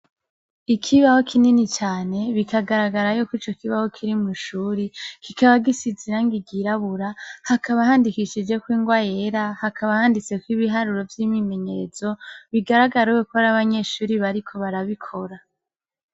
Ikibaho kinini cane bikagaragara ko ico kibaho kiri mwishure kikaba gisize irangi ryirabura hakaba handikishijeko ingwa yera hakaba handitseko ibiharuro vy'ibimenyetso bigaragara yuko ari abanyeshuri bariko barabikora.